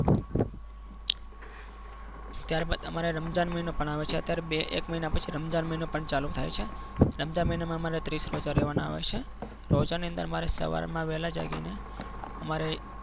ત્યારબાદ અમારે રમઝાન મહિનો પણ આવે છે અત્યારે બે એક મહિના પછી રમજાન મહિનો પણ ચાલુ થાય છે. રમજાન મહિનામાં અમારે ત્રીસ રોજા રહેવાના આવે છે. રોજા ની અંદર અમારે સવારમાં વહેલા જાગીને અમારે